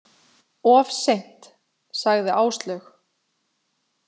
Of seint, sagði Áslaug.